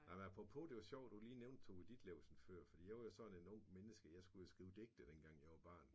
Nej men apropos det var sjovt du lige nævnte Tove Ditlevsen før for jeg var jo sådan et ungt menneske den gang jeg skulle jo skrive digte dengang jeg var barn